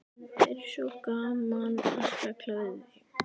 Það er svo gaman að spjalla við þig.